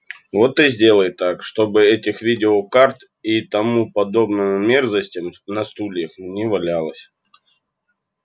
вот и сделай так чтобы этих видеокарт и тому подобной мерзости на стульях не валялось